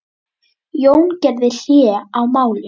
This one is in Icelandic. Jón gerði hlé á málinu.